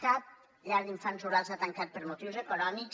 cap llar d’infants rural ha tancat per motius econòmics